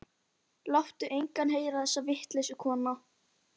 Láttu engan heyra þessa vitleysu, kona.